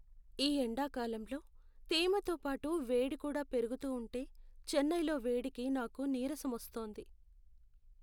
ఈ ఎండాకాలంలో తేమతో పాటు వేడి కూడా పెరగుతూ ఉంటే చెన్నైలో వేడికి నాకు నీరసం వస్తోంది.